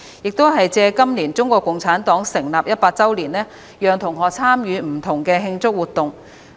適逢今年是中國共產黨成立一百周年，我們會讓同學參與不同的慶祝活動。